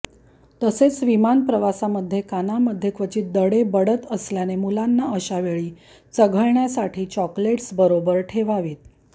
तसेच विमान प्रवासामध्ये कानामध्ये क्वचित दडे बडत असल्याने मुलांना अशा वेळी चघळण्यासाठी चॉकोलेट्स बरोबर ठेवावीत